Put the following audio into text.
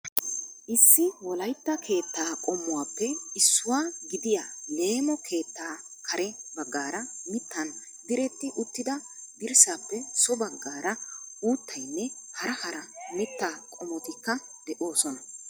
Issi Wolaytta keettaa qommuwappe issuwaa gidiyaa leemo keettaa kare baggaara mittan diretti uttida dirssappe so baggaara uuttaynne hara hara mittaa qommotikka de'oosona.